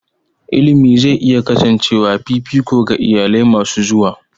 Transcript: Education is likely to remain a priority for future families.